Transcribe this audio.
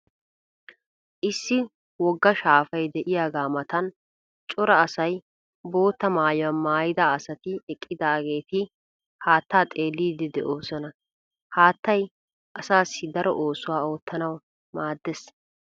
Issi wogga shaafay de'iyagaa matan cora asay bootta maayuwa maayida asati eqqidaageeti haattaa xeelliiddi de'oosona. Haattay asaassi daro oosuwa oottanawu maaddees.